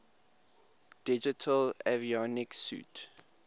digital avionics suite